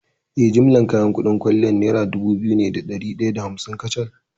Eh, jimillar kuɗin kayan kwalliyar nera dubu biyu ne da ɗari ɗaya da hamsin kacal.